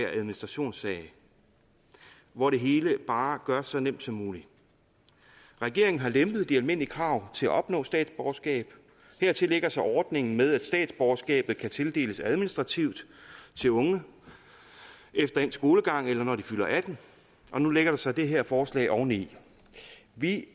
og administrationssag hvor det hele bare gøres så nemt som muligt regeringen har lempet de almindelige krav til at opnå statsborgerskab hertil lægger sig ordningen med at statsborgerskab kan tildeles administrativt til unge efter endt skolegang eller når de fylder atten og nu lægger der sig det her forslag oveni vi